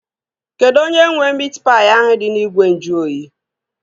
Kedụ onye nwee miit paị ahụ dị n'ime ìgwè nju oyi?